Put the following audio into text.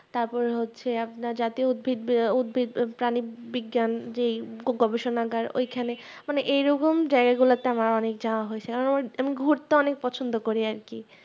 তার পর হচ্ছে আপনার উদ্ভিদ আহ উদ্ভিদ প্রাণী বিজ্ঞান যে গবেষণাগার ঐখানে মানবে এই রকম জায়গা গুলাতে আমার অনেক যাওয়া হয়েছে আমার যেমন ঘুরতে অনেক পছন্দ করি আরকি